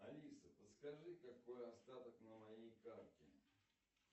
алиса подскажи какой остаток на моей карте